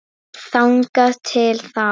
Þangað til þá.